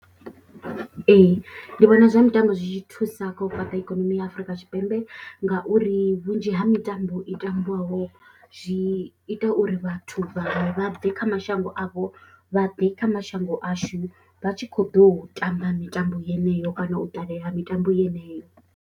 Ee, ndi vhona zwa mitambo zwi tshi thusa kha u fhaṱa ikonomi ya Afrika Tshipembe ngauri vhunzhi ha mitambo i tambiwaho zwi ita uri vhathu vhaṅwe vha bve kha mashango avho vha ḓe kha mashango ashu vha tshi khou ḓo u tamba mitambo yeneyo kana u ṱalela mitambo yeneyo.